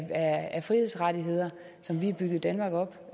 af frihedsrettigheder som vi har bygget danmark op